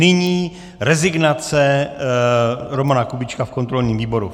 Nyní rezignace Romana Kubíčka v kontrolním výboru.